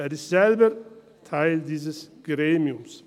Er ist selbst Teil dieses Gremiums.